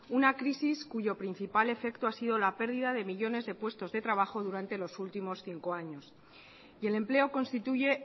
una crisis cuyo principal efecto ha sido la pérdida de millónes de puestos de trabajo durante los últimos cinco años y el empleo constituye